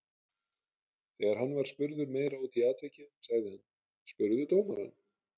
Þegar hann var spurður meira út í atvikið sagði hann: Spurðu dómarann.